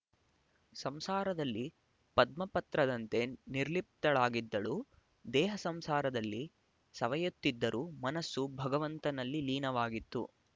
ಸಂಸಾರದಲ್ಲಿ ಪದ್ಮಪತ್ರದಂತೆ ನಿರ್ಲಿಪ್ತಳಾಗಿದ್ದಳು ದೇಹ ಸಂಸಾರದಲ್ಲಿ ಸವೆಯುತ್ತಿದ್ದರೂ ಮನಸ್ಸು ಭಗವಂತನಲ್ಲಿ ಲೀನವಾಗಿತ್ತು